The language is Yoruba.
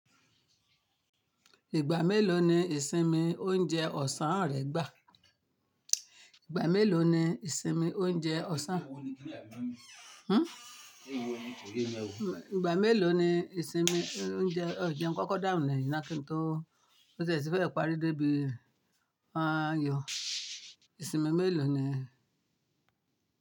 Ìgbà mélòó ni ìsinmi oúnjẹ ọ̀sán rẹ gbà? Ìgbà mélòó ni ìsinmi oúnjẹ ọ̀sán? Hmm. Ìgbà mélòó ni ìsinmi oúnjẹ ọ̀sán? Ọ̀jẹ̀ ń kọ́kọ́ dáhùn lẹ́yìn na kí n tó mo tí e ti fẹ́ẹ̀ parí débi ààyò. Ìsinmi mélòó ni?